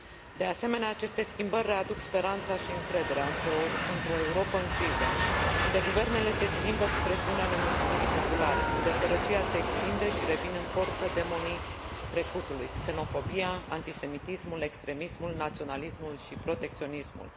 De asemenea, aceste schimbări readuc speranța și încrederea într o Europă în criză, unde guvernele se schimbă sub presiunea nemulțumirii populare, unde sărăcia se extinde și revin în forță demonii trecutului xenofobia, antisemitismul, extremismul, naționalismul și protecționismul.